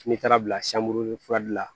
N'i taara bila furali la